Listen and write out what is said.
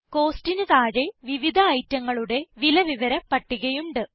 Costന് താഴെ വിവിധ ഐറ്റങ്ങളുടെ വില വിവര പട്ടികയുണ്ട്